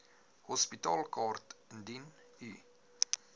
hospitaalkaart indien u